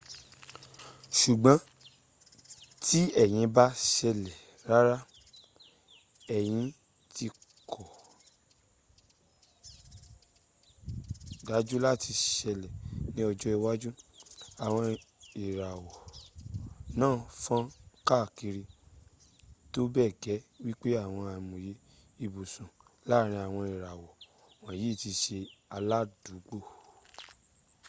sùgbón tí èyí ba´ sèlè rárá èyí ti kò dájú láti sẹlè ní ọjọ́ iwájú. àwọn ìràwọ̀ náà fọn kàkiri tó bẹ gẹ wípé àwọn àìmoyẹ ìbùsọ̀ láárin àwọn ìràwọ̀ wònyí tí sẹ aládùúgbò